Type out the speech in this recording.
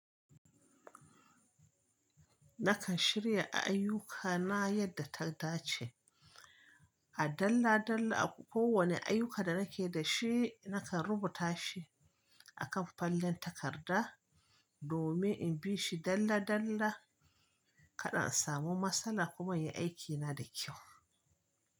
Nakan shirya ayyukana yadda ta dace. A dalla dalla, kowane ayyuka da nake da shi nakan rubuta shi a kan fallen takarda domin in bi shi dalla dalla. Kada a samu matsala kuma in yi aikina da kyau.